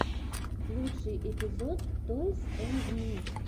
лучший эпизод тойс энд ми